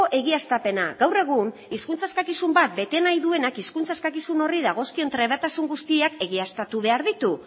egiaztapena gaur egun hizkuntza eskakizun bat bete nahi duenak hizkuntz eskakizun horri dagozkion trebetasun guztiak egiaztatu behar ditu